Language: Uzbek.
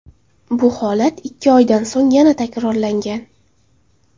Bu holat ikki oydan so‘ng yana takrorlangan.